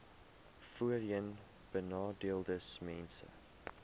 voorheenbenadeeldesmense